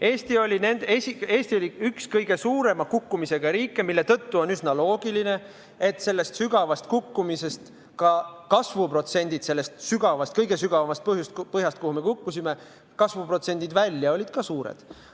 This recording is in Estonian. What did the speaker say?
Eesti oli üks kõige suurema kukkumisega riike, mille tõttu on üsna loogiline, et sellest sügavast kukkumisest, sellest sügavast, kõige sügavamast põhjast, kuhu me kukkusime, välja kasvamise protsendid olid ka suured.